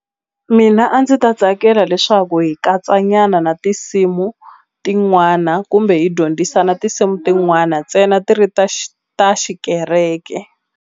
Mina a ndzi ta tsakela leswaku hi katsa nyana na tinsimu tin'wana kumbe hi dyondzisana tinsimu tin'wana ntsena ti ri ta ta xikereke.